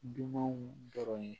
Dunanw dɔrɔn ye